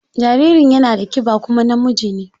Jaririn yana da kiba kuma namiji ne.